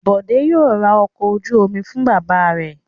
Bọ̀dé yóò ra ọkọ̀ ojú-omi fún bàbá rẹ̀.